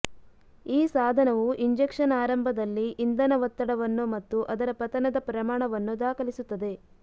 ಈ ಸಾಧನವು ಇಂಜೆಕ್ಷನ್ ಆರಂಭದಲ್ಲಿ ಇಂಧನ ಒತ್ತಡವನ್ನು ಮತ್ತು ಅದರ ಪತನದ ಪ್ರಮಾಣವನ್ನು ದಾಖಲಿಸುತ್ತದೆ